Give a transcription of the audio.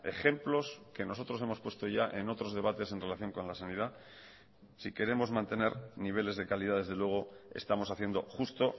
ejemplos que nosotros hemos puesto ya en otros debates en relación con la sanidad si queremos mantener niveles de calidad desde luego estamos haciendo justo